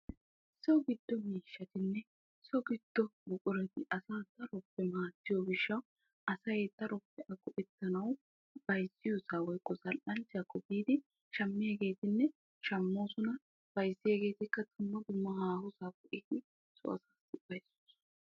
so giddo miishshatinne so giddo buqurati asaa daroppe maaddiyo gishshaw asay darotoo eta g''ettanaw bayzziyooss woykko zal''anchcha biidi shammiyaagetinne shammoosona, bayzziyaagetikka dumma fdumma haahoosappe yiidi eti ..